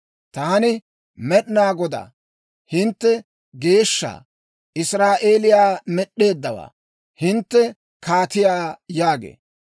Taani Med'inaa Godaa, hintte Geeshsha, Israa'eeliyaa med'd'eeddawaa, hintte Kaatiyaa» yaagee.